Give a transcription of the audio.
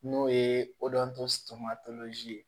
N'o ye ye